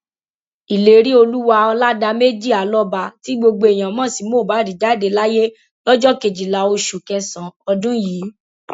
ìléríolúwà ọládàmejì alọba tí gbogbo èèyàn mọ sí mohbad jáde láyé lọjọ kejìlá oṣù kẹsànán ọdún yìí